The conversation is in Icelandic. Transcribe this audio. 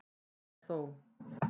Enn er þó